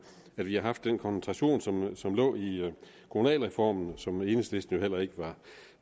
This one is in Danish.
at vi har haft den koncentration som som lå i kommunalreformen og som enhedslisten jo heller ikke